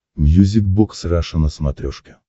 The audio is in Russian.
мьюзик бокс раша на смотрешке